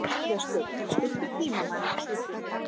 Gestur, stilltu tímamælinn á sjötíu og fimm mínútur.